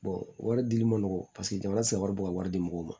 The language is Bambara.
wari dili ma nɔgɔn paseke jamana tɛ se ka wari bɔ ka wari di mɔgɔw ma